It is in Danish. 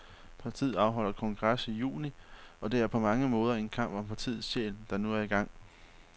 Partiet afholder kongres i juni, og det er på mange måder en kamp om partiets sjæl, der nu er i gang.